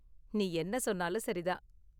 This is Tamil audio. நீ என்ன சொன்னாலும் சரி தான்.